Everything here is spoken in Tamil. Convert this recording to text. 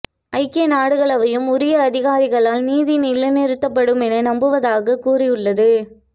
ஐக்கிய நாடுகள் அவையும் உரிய அதிகாரிகளால் நீதி நிலைநிறுத்தப்படுமென நம்புவதாகக் கூறியுள்ளது